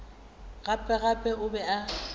gape gape o be a